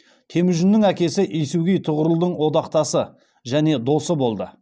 темүжіннің әкесі есугей тұғырылдың одақтасы және досы болды